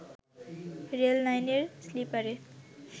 rail লাইনের স্লিপারে